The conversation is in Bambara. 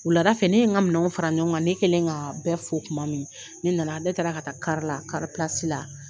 Wulada fɛ, ne ye n ka minɛnw fara ɲɔgɔn kan, ne kelen ka bɛɛ fo tuma min, ne nana, ne taara ka taa gari la, kari pilasi la.